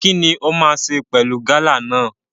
Kini o ma ṣe pẹlú gala náà?